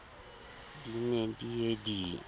di ne di ye di